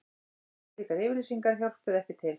Slíkar yfirlýsingar hjálpuðu ekki til